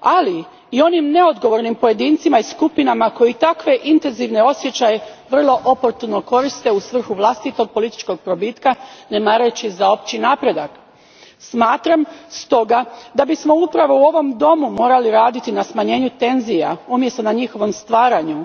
ali i onim neodgovornim pojedincima i skupinama koji takve intenzivne osjećaje vrlo oportuno koriste u svrhu vlastitog političkog probitka, ne mareći za opći napredak. Smatram stoga da bismo upravo u ovom domu morali raditi na smanjenju tenzija umjesto na njihovom stvaranju.